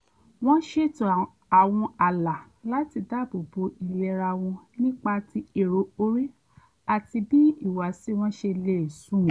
wọ́n ṣètò àwọn ààlà láti dáàbò bo ìlera wọn nípa ti èrò orí àti bí ìhùwàsí wọn ṣe lè sunwọ̀n